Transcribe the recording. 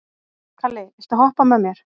Kalli, viltu hoppa með mér?